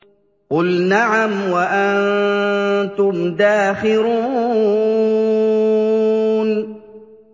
قُلْ نَعَمْ وَأَنتُمْ دَاخِرُونَ